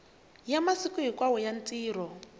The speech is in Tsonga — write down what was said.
ya masiku hinkwawo ya rito